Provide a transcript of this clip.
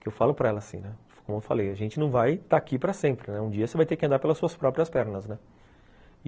que eu falo para ela assim, como eu falei, a gente não vai estar aqui para sempre, um dia você vai ter que andar pelas suas próprias pernas, né.